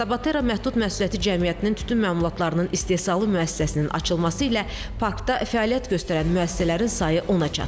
Tabatera məhdud məsuliyyətli cəmiyyətinin tütün məmulatlarının istehsalı müəssisəsinin açılması ilə parkda fəaliyyət göstərən müəssisələrin sayı ona çatıb.